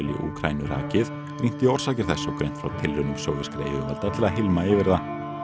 í Úkraínu rakið rýnt í orsakir þess og greint frá tilraunum sovéskra yfirvalda til að hylma yfir það